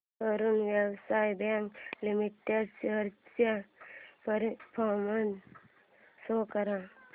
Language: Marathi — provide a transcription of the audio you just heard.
Karur Vysya bank limited shares चा परफॉर्मन्स शो कर